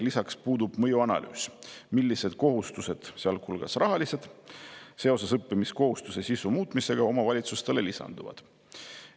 Lisaks puudub mõjuanalüüs, millised kohustused, sealhulgas rahalised, seoses õppimiskohustuse sisu muutmisega omavalitsustele lisanduvad.